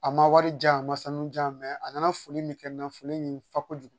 A ma wari di yan a ma sanu ja mɛ a nana foli min kɛ n na foli in fa kojugu